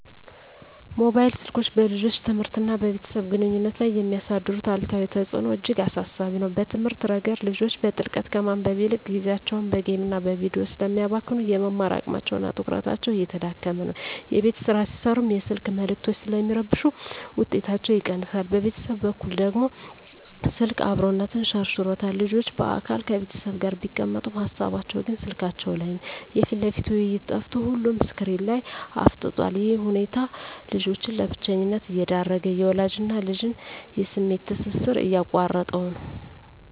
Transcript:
ሞባይል ስልኮች በልጆች ትምህርትና በቤተሰብ ግንኙነት ላይ የሚያሳድሩት አሉታዊ ተጽዕኖ እጅግ አሳሳቢ ነው። በትምህርት ረገድ፣ ልጆች በጥልቀት ከማንበብ ይልቅ ጊዜያቸውን በጌምና በቪዲዮ ስለሚያባክኑ፣ የመማር አቅማቸውና ትኩረታቸው እየተዳከመ ነው። የቤት ሥራ ሲሠሩም የስልክ መልዕክቶች ስለሚረብሹ ውጤታቸው ይቀንሳል። በቤተሰብ በኩል ደግሞ፣ ስልክ "አብሮነትን" ሸርሽሮታል። ልጆች በአካል ከቤተሰብ ጋር ቢቀመጡም፣ ሃሳባቸው ግን ስልካቸው ላይ ነው። የፊት ለፊት ውይይት ጠፍቶ ሁሉም ስክሪን ላይ አፍጥጧል። ይህ ሁኔታ ልጆችን ለብቸኝነት እየዳረገ፣ የወላጅና ልጅን የስሜት ትስስር እየቆረጠው ነው።